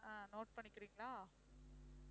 ஆஹ் note பண்ணிக்கிறீங்களா?